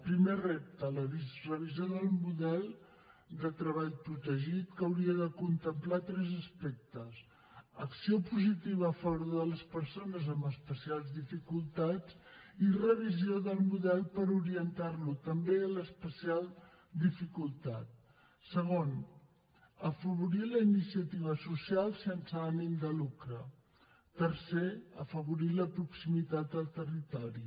primer repte la revisió del model de treball protegit que hauria de contemplar tres aspectes acció positiva a favor de les persones amb especials dificultats i revisió del model per orientar lo també a l’especial dificultat segon afavorir la iniciativa social sense ànim de lucre tercer afavorir la proximitat del territori